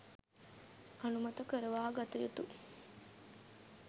අනුමත කරවාගත යුතුය.